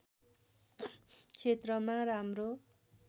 क्षेत्रमा राम्रो